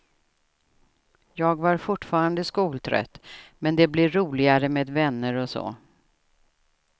Jag var fortfarande skoltrött, men det blev roligare med vänner och så.